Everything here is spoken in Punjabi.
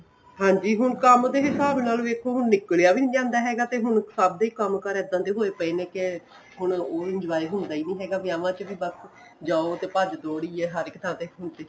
ਹਾਂਜੀ ਹੁਣ ਕੰਮ ਦੇ ਹਿਸਾਬ ਨਾਲ ਵੇਖੋ ਹੁਣ ਨਿੱਕਲਿਆਂ ਵੀ ਨਹੀਂ ਜਾਂਦਾ ਹੈਗਾ ਤੇ ਹੁਣ ਸਭ ਦੇ ਕੰਮਕਾਰ ਇੱਦਾਂ ਦੇ ਹੋਏ ਪਏ ਨੇ ਕ਼ ਹੁਣ ਉਹ enjoy ਹੁੰਦਾ ਹੀ ਨਹੀਂ ਹੈਗਾ ਵਿਆਹਾਂ ਚ ਵੀ ਬੱਸ ਜਾਓ ਤੇ ਭੱਜ ਦੋੜ ਹੀ ਏ ਹਰੇਕ ਥਾਂ ਤੇ ਹੁਣ ਤੇ